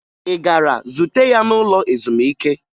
Ị gara zute ya n'ụlọ ezumike?